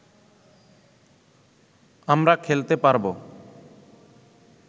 আমরা খেলতে পারবো